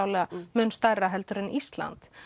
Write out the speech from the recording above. mun stærra en Ísland